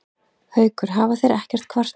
Haukur: Þeir hafa ekkert kvartað?